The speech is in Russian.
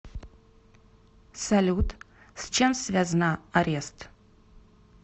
салют с чем связна арест